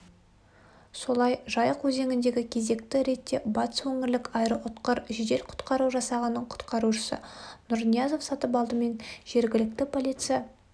солай жайық өзеңіндегі кезекті рейдте батыс өңірлік аэроұтқыр жедел-құтқару жасағының құтқарушысы нұрниязов сатыпалды мен жергілікті полиция